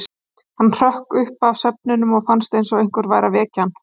Hann hrökk upp af svefninum og fannst eins og einhver væri að vekja hann.